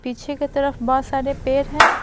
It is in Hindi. पीछे के तरफ बहुत सारे पैर हैं।